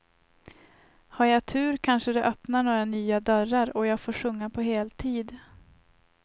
Har jag tur kanske det öppnar några nya dörrar, och jag får sjunga på heltid.